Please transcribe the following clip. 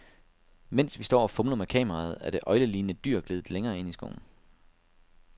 Mens vi står og fumler med kameraet, er det øglelignende dyr gledet længere ind i skoven.